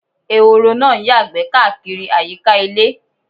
Ẹ̀họ̀rọ̀ náá ǹ yàgbé kàkírí ayíká ilẹ̀.